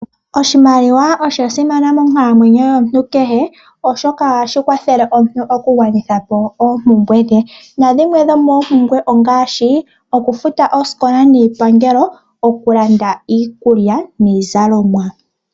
Oshimaliwa osha simana monkalamwenyo yomuntu kehe, oshoka ohashi kwathele omuntu okugwanitha po oompumbwe dhe. Dhimwe dhoomompumbwe ongaashi okufuta oosikola niipangelo, okulanda iikulya noshowo iizalomwa.